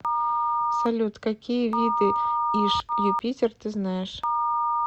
салют какие виды иж юпитер ты знаешь